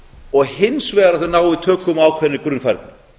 og hins vegar að þau nái tökum á ákveðinni grunnfærni